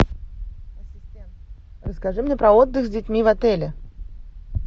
расскажи мне про отдых с детьми в отеле